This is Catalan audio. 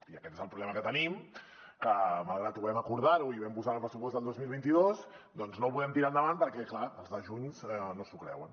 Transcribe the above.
i aquest és el problema que tenim que malgrat que ho vam acordar i ho vam posar en el pressupost del dos mil vint dos doncs no ho podem tirar endavant perquè clar els de junts no s’ho creuen